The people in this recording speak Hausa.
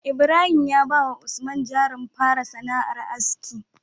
Ibrahim ya bawa usman jarin fara sana'ar aski